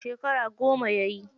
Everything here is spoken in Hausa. Shekara goma yayi.